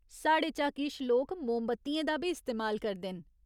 साढ़े चा किश लोक मोमबत्तियें दा बी इस्तेमाल करदे न।